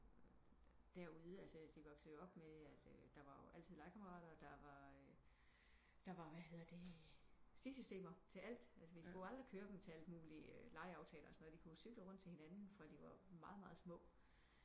Derude altså de voksede jo op med at eh der var altid legekammerater og der var der var eh hvad hedder det stisystemer til alt altså vi skulle aldrig køre dem til alt muligt legeaftaler og sådan noget de kunne jop cykle rundt til hinanden fra de var meget meget små